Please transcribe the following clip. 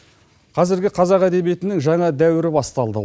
қазіргі қазақ әдебиетінің жаңа дәуірі басталды